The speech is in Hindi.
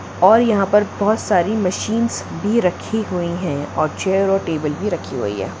और यहाँ पर बोहोत सारी मशीन्स भी रखी हुई है और चेयर और टेबल भी रखी हुई है।